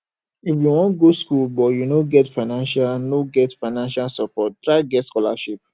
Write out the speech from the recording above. if you wan go skool but you no get financial no get financial support try get scholarship